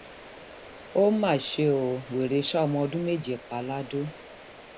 ó máṣe ó wèrè sá ọmọ ọdún méje pa lado